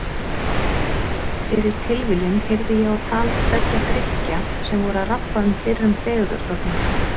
Fyrir tilviljun heyrði ég á tal tveggja Grikkja sem voru að rabba um fyrrum fegurðardrottningu.